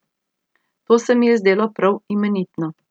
To se mi je zdelo prav imenitno.